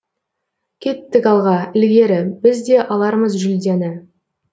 кеттік алға ілгері біз де алармыз жүлдені